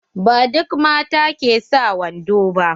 Ba duk mata ke sa wando ba.